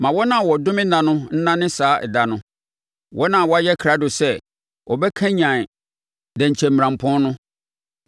Ma wɔn a wɔdome nna no nnome saa ɛda no; wɔn a wɔayɛ krado sɛ wɔbɛkanyane dɛnkyɛmmirampɔn no.